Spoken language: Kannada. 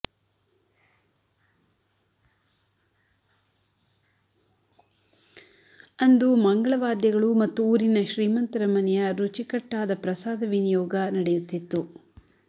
ಅಂದು ಮಂಗಳ ವಾದ್ಯಗಳು ಮತ್ತು ಊರಿನ ಶ್ರೀಮಂತರ ಮನೆಯ ರುಚಿಕಟ್ಟಾದ ಪ್ರಸಾದ ವಿನಿಯೋಗ ನಡೆಯುತ್ತಿತ್ತು